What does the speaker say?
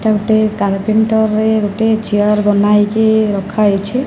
ଏଇଟା ଗୋଟେ ଚେୟାର ବନା ହେଇକି ରଖା ହେଇଛି।